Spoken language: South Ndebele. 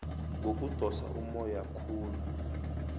ngokudosa ummoya khulu